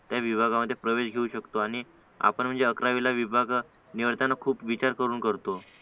त्या विभागामध्ये प्रवेश घेऊ शकतो आणि आपण म्हणजे अकरावीला विभाग निवडताना खूप विचार करून करतो